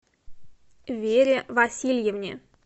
вере васильевне